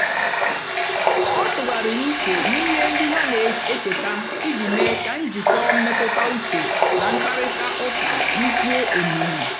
ọ tụ̀ghàrị̀rì ùchè n'ihe ndí ha na-èchétà ijì meé kà njikọ́ mmètụ́tà ùchè na mkpáịrịtà ụ́ka dị́kwúó òmiimí.